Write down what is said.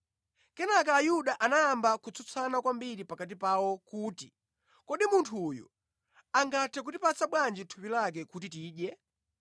Kenaka Ayuda anayamba kutsutsana kwambiri pakati pawo kuti, “Kodi munthu uyu angathe kutipatsa bwanji thupi lake kuti tidye?”